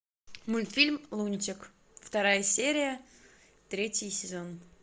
мультфильм лунтик вторая серия третий сезон